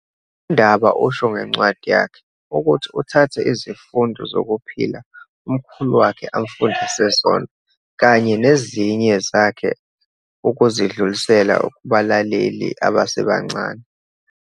UNdaba usho ngencwadi yakhe, ukuthi uthathe izifundo zokuphila umkhulu wakhe amfundise zona kanye nezinye zakhe ukuzidlulisela kubalaleli abasebancane.